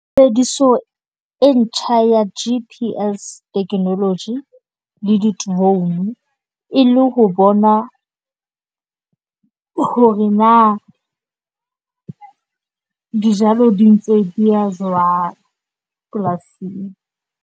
Tshebediso e ntjha ya G_P_S technology le di drone e le ho bona hore na dijalo di ntse dia jwang polasing.